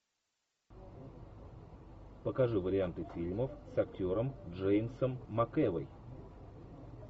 покажи варианты фильмов с актером джеймсом макэвой